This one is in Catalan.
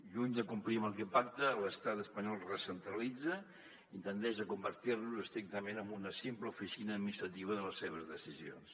lluny de complir amb el que pacta l’estat espanyol recentralitza i tendeix a convertir nos estrictament en una simple oficina administrativa de les seves decisions